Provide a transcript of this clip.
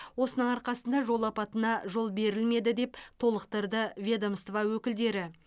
осының арқасында жол апатына жол берілмеді деп толықтырды ведомство өкілдері